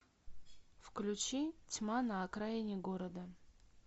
включи тьма на окраине города